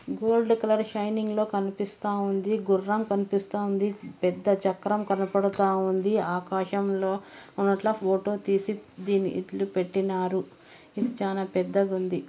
Gold colour shining లో కనిపిస్తా ఉంది గుర్రం కనిపిస్తా ఉంది పెద్ద చక్రం కనపడతా ఉంది ఆకాశంలో ఉన్నట్ల ఫోటో తీసి దీన్ని ఇట్ల పెట్టినారు ఇది చానా పెద్దగుంది.